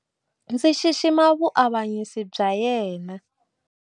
Ndzi xixima vuavanyisi bya yena.